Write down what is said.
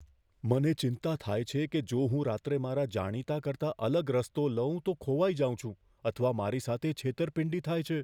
મને ચિંતા થાય છે કે જો હું રાત્રે મારા જાણીતા કરતાં અલગ રસ્તો લઉં તો ખોવાઈ જાઉં છું અથવા મારી સાથે છેતરપિંડી થાય છે.